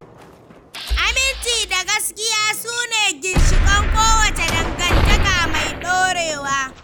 Aminci da gaskiya su ne ginshiƙan kowace dangantaka mai ɗorewa.